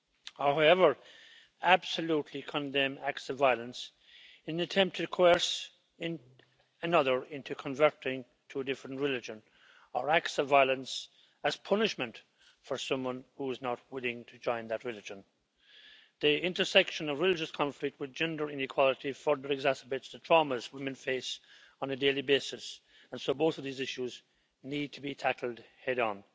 However, I absolutely condemn acts of violence in an attempt to coerce another into converting to a different religion, or acts of violence as punishment for someone who is not willing to join that religion. The intersection of religious conflict with gender inequality further exacerbates the traumas women face on a daily basis, and so both of these issues need to be tackled head on.